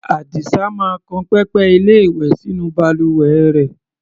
Àdìsá máa kan pẹpẹ-ilé-ìwẹ̀ sínú balùwẹ rẹ̀.